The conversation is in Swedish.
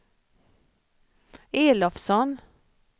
Elofsson